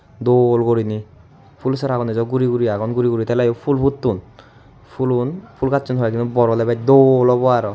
dol goriney phul saragun ebo guri guri agon guri guri teleyo pul putton pulun pul gacchun hoyekdiney bor oley bech dol obow aro.